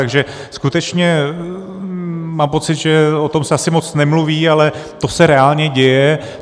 Takže skutečně mám pocit, že o tom se asi moc nemluví, ale to se reálně děje.